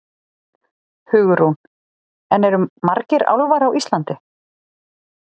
Hugrún: En eru margir álfar á Íslandi?